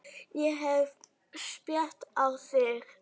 Ég hef spýtt á þig.